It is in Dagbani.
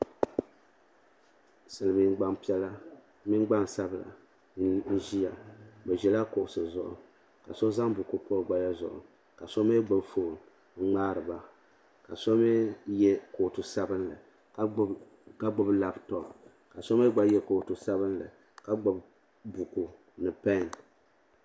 Silimiin gbampiɛla mini gbansabla n ʒia bɛ ʒila kuɣusi zuɣu ka so zaŋ buku pa o gbaya zuɣu ka so mɛɛ gbibi fooni n ŋmaari ba ka so mɛɛ ye kootu sabinli ka gbibi laaputopu ka so mee gba ye kootu sabinli ka gbibi buku ni peni.